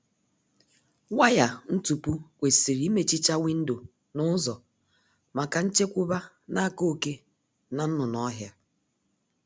Waya ntupu kwesịrị imechicha windo na ụzọ maka nchekwba n'aka oké na nnụnụ ọhịa